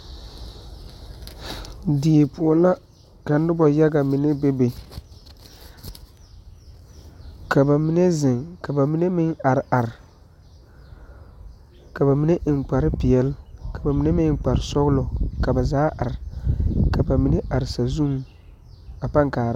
Die poɔ la ka noba yaga mine bebe ka ba mine zeŋ ka ba mine are are ka ba mine eŋ kpare peɛle ka ba mine eŋ kpare sɔglɔ ka ba zaa are ka ba mine are sazuŋ a pãã kaara.